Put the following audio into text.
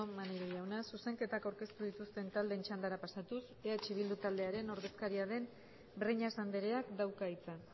maneiro jauna zuzenketak aurkeztu dituzten taldeen txandara pasatuz eh bildu taldearen ordezkaria den breñas andreak dauka hitza